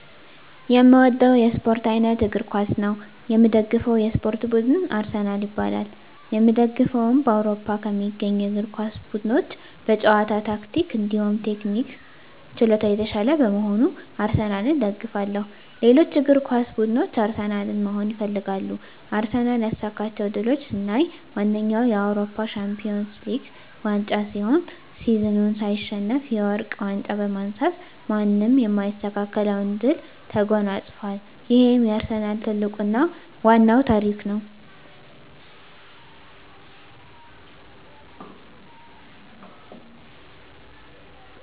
የእምወደዉ የእስፖርት አይነት እግር ኳስ ነዉ። የምደግፈዉ የእስፖርት ቡድንም አርሰናል ይባላል። የእምደግፈዉም በአዉሮፖ ከሚገኙ የእግር ኳስ ቡድኖች በጨዋታ ታክቲክ እንዲሁም ቴክኒክና ችሎታ የታሻለ በመሆኑ አርሰናልን እደግፋለሁ። ሌሎች እግር ኳስ ብድኖች አርሰናልን መሆን ይፈልጋሉ። አርሰናል ያሳካቸዉ ድሎች ስናይ ዋነኛዉ የአዉሮፖ ሻንፒወንስ ሊግ ዋንጫ ሲሆን ሲዝኑን ሳይሸነፍ የወርቅ ዋንጫ በማንሳት ማንም የማይስተካከለዉን ድል ተጎናፅፋል ይሄም የአርሰናል ትልቁና ዋናዉ ታሪክ ነዉ።